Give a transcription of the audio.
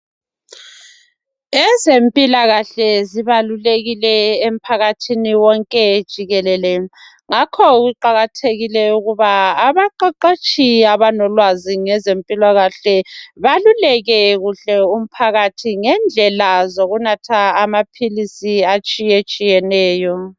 ezempilakahle zibalulekile emphakathini wonke jikelele ngakho kuqhakathekile ukuba abaqheqetshi abalolwazi ngezempilakahle baluleke kuhle umphakathi ngendlela zokunatha amaphilisi atshiyetshiyeneyo